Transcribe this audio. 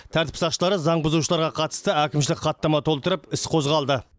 тәртіп сақшылары заң бұзушыларға қатысты әкімшілік хаттама толтырып іс қозғалды